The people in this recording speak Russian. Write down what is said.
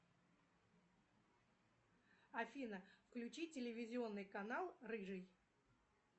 афина включи телевизионный канал рыжий